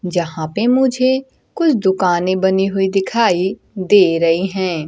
जहां पे मुझे कुछ दुकानें बनी हुई दिखाई दे रही हैं।